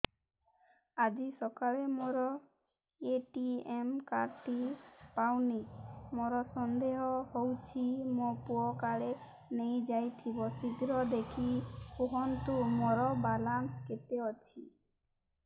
ଆଜି ସକାଳେ ମୋର ଏ.ଟି.ଏମ୍ କାର୍ଡ ଟି ପାଉନି ମୋର ସନ୍ଦେହ ହଉଚି ମୋ ପୁଅ କାଳେ ନେଇଯାଇଥିବ ଶୀଘ୍ର ଦେଖି କୁହନ୍ତୁ ମୋର ବାଲାନ୍ସ କେତେ ଅଛି